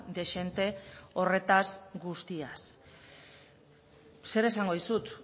dezente horretaz guztiaz zer esango dizut